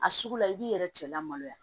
A sugu la i b'i yɛrɛ cɛ lamaloya